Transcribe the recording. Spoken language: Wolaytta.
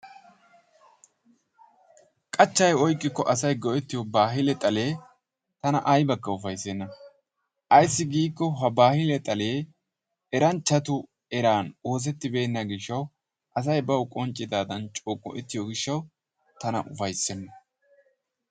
Qachchay oyqqikko asay go'ettiyo baahille xalee tana aybbakka ufayssana. Ayssi giikko ha baahille xalee eranchchatu eran oosettibeenabaa gishshawu asay bawu qonccidadan coo go'ettiyo gishshawu tana ufaysseena.